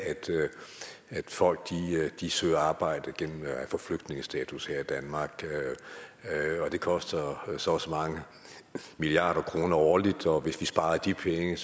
at folk søger arbejde gennem at få flygtningestatus her i danmark og det koster så og så mange milliarder kroner årligt og hvis vi sparede de penge